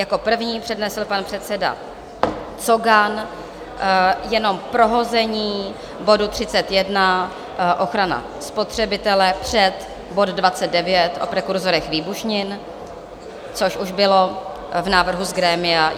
Jako první přednesl pan předseda Cogan jenom prohození bodu 31, ochrana spotřebitele, před bod 29, o prekurzorech výbušnin, což už bylo v návrhu z grémia.